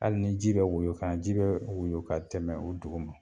Hali ni ji bɛ woyon ka na ji bɛ woyon ka tɛmɛ o dugu ma